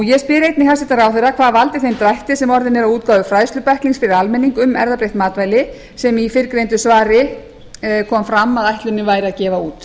ég spyr einnig hæstvirtur ráðherra hvað valdi þeim drætti sem orðinn er á útgáfu fræðslubækling fyrir almenning um erfðabreytt matvæli sem í fyrrgreindu svari kom fram að ætlunin væri að gefa út